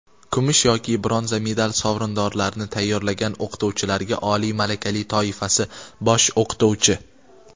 kumush yoki bronza medal sovrindorlarini tayyorlagan o‘qituvchilarga – oliy malaka toifasi (bosh o‘qituvchi).